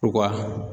U ka